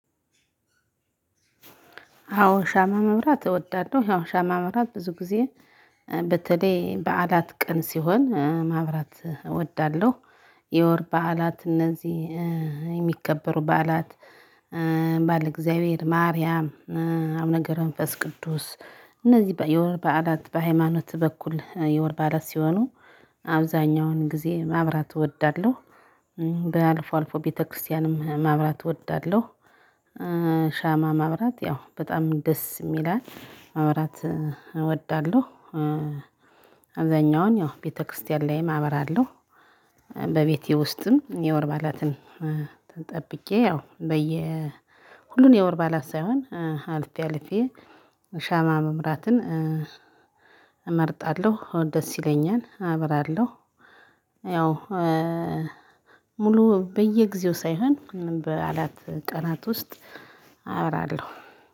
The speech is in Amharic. አዎ ሻማ ማብራት እወዳለሁ። ያው ሻማ ማብራት ብዙ ጊዜ በተለይ በዓላት ቀን ሲሆን ማብራት እወዳለሁ። የወር በዓላት እነዚህ የሚከበሩ በዓላት ባለ እግዚአብሔር፣ ማርያም፣ አቡነ ገብረ መንፈስ ቅዱስ እነዚህ የወር በዓላት በሃይማኖት በኩል የወር በዓላት ሲሆኑ አብዛህኛውን ጊዜ ማብራት እወዳለሁ። በአልፎ አልፎ ቤተክርስቲያንም ማብራት እወዳለሁ። ሻማ ማብራት ያው በጣም ደስም ይላል። ማብራት እወዳለሁ። አብዛህኛውን ያው ቤተክርስቲያን ላይም አበራለሁ። በቤቴ ውስጥም የወር በዓላትን ጠብቄ ያው ሁሉን የወር በዓላት ሳይሆን አልፌ አልፌ ሻማ ማብራትን እመርጣለሁ። ደስ ይለኛል። አብራለሁ። ያው ሙሉ በየጊዜው ሳይሆን በበዓላት ቀናት ውስጥ አበራለሁ።